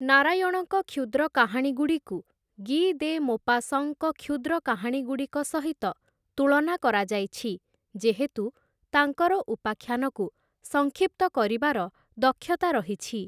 ନାରାୟଣଙ୍କ କ୍ଷୁଦ୍ର କାହାଣୀଗୁଡ଼ିକୁ ଗି ଦେ ମୋପାସଁଙ୍କ କ୍ଷୁଦ୍ର କାହାଣୀଗୁଡ଼ିକ ସହିତ ତୁଳନା କରାଯାଇଛି ଯେହେତୁ ତାଙ୍କର ଉପାଖ୍ୟାନକୁ ସଂକ୍ଷିପ୍ତ କରିବାର ଦକ୍ଷତା ରହିଛି ।